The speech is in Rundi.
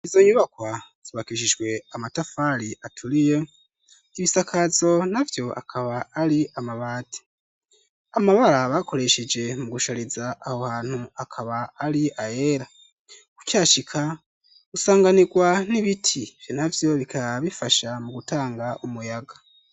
Izo nyubakwa zubakishijwe amatafari aturiye, ibisakazo navyo akaba ari amabati, amabara bakoresheje mu gushariza aho hantu akaba ari ayera , kucashika gusanganirwa n'ibiti vyo navyo bikaba bifasha mu gutanga umuyaga.